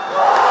Qol!